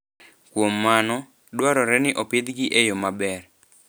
Kuom mano, dwarore ni opidhgi e yo maber.